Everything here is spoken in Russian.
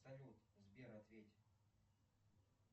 салют сбер ответь